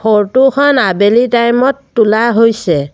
ফৰটো খন আবেলি টাইম ত তোলা হৈছে।